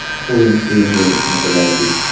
O‘yin qiyin bo‘lishini bilardik.